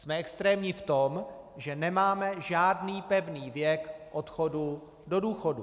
Jsme extrémní v tom, že nemáme žádný pevný věk odchodu do důchodu.